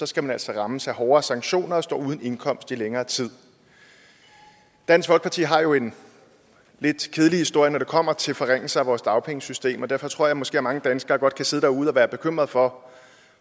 skal man altså rammes af hårdere sanktioner og stå uden indkomst i længere tid dansk folkeparti har jo en lidt kedelig historie når det kommer til forringelser af vores dagpengesystem og derfor tror jeg måske at mange danskere godt kan sidde derude og være bekymrede for